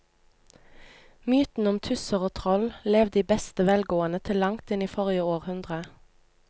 Mytene om tusser og troll levde i beste velgående til langt inn i forrige århundre.